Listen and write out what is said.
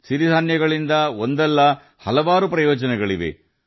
ಸಿರಿಧಾನ್ಯಗಳು ಹಲವಾರು ಪ್ರಯೋಜನಗಳನ್ನು ಹೊಂದಿದೆ